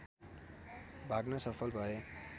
भाग्न सफल भए